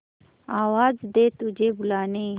आवाज दे तुझे बुलाने